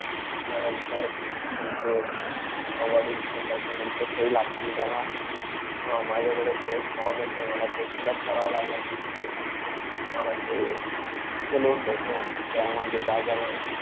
त्यानंतर तुमचे अं वडील ते त्याच्यानंतर सही लागतील त्याला. अं माझ्याकडे ते एक form आहे ते तुम्हाला fill-up करावं लागेल. त मांग तुम्हाला हे इतकं loan भेटणार त्यामध्ये जागा